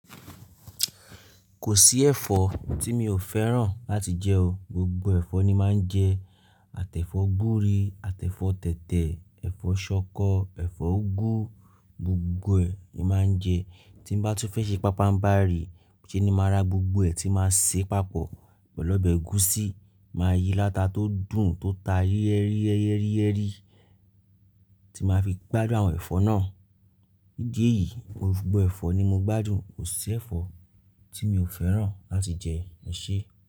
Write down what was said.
Kò sí ẹ̀fọ́ tí mi ò fẹ́ràn láti jẹ o. Gbogbo ẹ̀fọ́ ni máa ń jẹ. Àtẹ́fọ́ gbúre, àtẹ́fọ́ tẹ̀tẹ̀, ẹ̀fọ́ ṣọkọ, ẹ̀fọ́ úgú, gbogbo ẹ̀ ni máa ń jẹ. Tí bá tún fẹ́ ṣe pábá ń bá rí, ṣé ni màá ra gbogbo ẹ̀ tí máa ṣe papọ̀ pẹ̀lú ọbẹ̀ ẹ̀gúsí, màá yí láta tó dùn tó ta yẹ́ríyẹ́ríyẹ́rí tí màá fi gbádùn àwọn ẹ̀fọ́ náà. Nídi èyí, gbogbo ẹ̀fọ́ ni mo gbádùn. Kò sí ẹ̀fọ́ tí mi ò fẹ́ràn láti jẹ, eṣe.